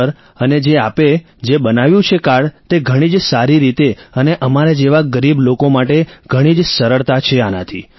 sir અને જે આપે જે બનાવ્યું છે કાર્ડ તે ઘણી જ સારી રીતે અને અમારા જેવા ગરીબ લોકો માટે ઘણી જ સરળતા છે આનાથી